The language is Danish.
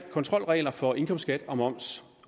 kontrolregler for indkomstskat og moms